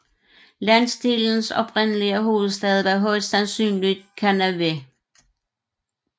Landsdelens oprindelige hovedstad var højst sandsynligt Kernavė